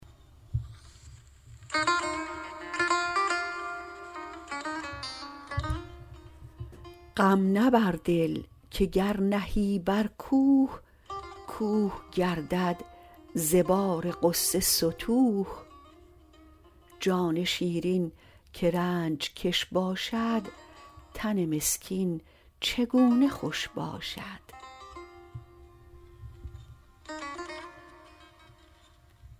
غم نه بر دل که گر نهی بر کوه کوه گردد ز بار غصه ستوه جان شیرین که رنج کش باشد تن مسکین چگونه خوش باشد